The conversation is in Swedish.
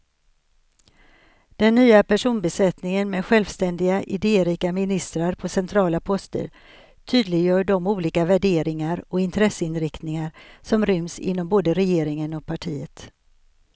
Den nya personbesättningen med självständiga, idérika ministrar på centrala poster tydliggör de olika värderingar och intresseinriktningar som ryms inom både regeringen och partiet.